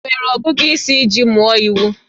Ị nwere ọgụgụ isi iji mụọ iwu?